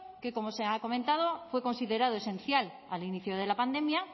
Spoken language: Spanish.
que como se ha comentado fue considerado esencial al inicio de la pandemia